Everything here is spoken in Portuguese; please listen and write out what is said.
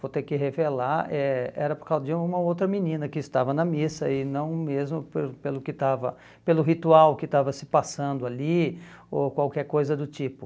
vou ter que revelar, eh era por causa de uma outra menina que estava na missa, e não mesmo pelo pelo que estava pelo ritual que estava se passando ali, ou qualquer coisa do tipo.